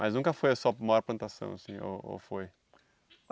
Mas nunca foi a sua maior plantação assim ou ou foi?